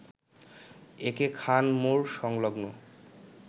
একে খান মোড় সংলগ্ন